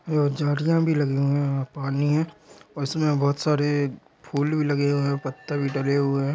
और झाड़ियां भी लगी हुई हैं वहाँ पानी है उसमें बहुत सारे फूल भी लगे हुए हैं पत्ते भी लगे हुए हैं।